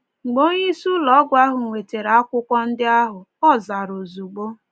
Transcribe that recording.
Mgbe onyeisi ụlọ ọgwụ ahụ nwetara akwụkwọ ndị ahụ, ọ zara ozugbo.